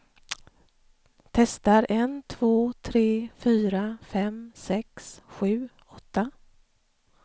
Testar en två tre fyra fem sex sju åtta.